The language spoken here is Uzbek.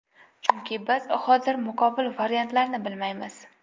Chunki biz hozir muqobil variantlarni bilmaymiz.